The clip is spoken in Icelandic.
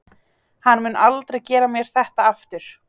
Hann mun aldrei gera mér þetta aftur.